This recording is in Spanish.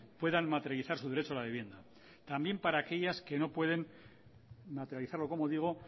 puedan materializar su derecho a la vivienda también para aquellas que no pueden materializarlo como digo